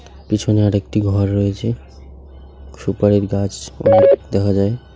পিছনে আরেকটি ঘর রয়েছে সুপারির গাছ অনেক দেখা যায়।